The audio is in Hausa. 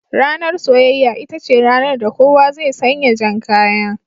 Ranar soyayya, ita ce ranar da kowa zai sanya jan kaya